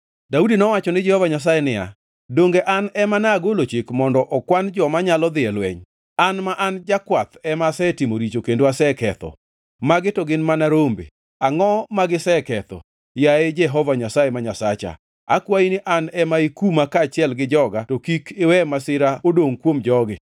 Daudi nowacho ni Jehova Nyasaye niya, “Donge an ema nagolo chik mondo okwan joma nyalo dhi e lweny? An ma an jakwath ema asetimo richo kendo aseketho. Magi to gin mana rombe, angʼo magiseketho? Yaye Jehova Nyasaye ma Nyasacha, akwayi ni an ema ikuma kaachiel gi joga to kik iwe masira odongʼ kuom jogi.”